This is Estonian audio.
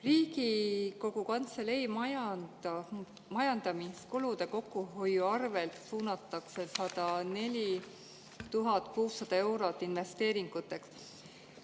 Riigikogu Kantselei majandamiskulude kokkuhoiu arvelt suunatakse 104 600 eurot investeeringuteks.